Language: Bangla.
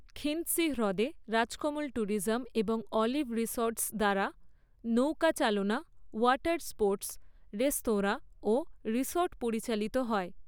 খিন্দসি হ্রদে রাজকমল ট্যুরিজম এবং অলিভ রিসর্ট্স দ্বারা নৌকা চালনা, ওয়াটার স্পোর্টস, রেস্তোরাঁ ও রিসর্ট পরিচালিত হয়।